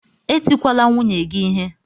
Etikwala nwunye gị ihe!